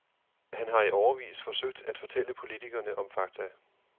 Han har i årevis forsøgt at fortælle politikerne om fakta.